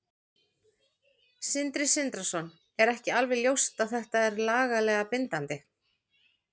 Sindri Sindrason: Er ekki alveg ljóst að þetta er lagalega bindandi?